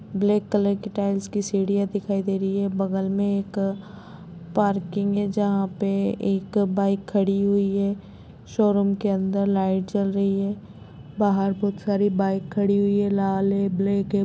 Black colour की tiles की सीढ़ियाँ दिखाई दे रही है बगल में एक पार्किंग है जहाँ पे एक बाइक खड़ी हुई है शोरूम के अंदर लाइट जल रही है बाहर बहुत सारी बाइक खड़ी हुई है लाल है ब्लैक है।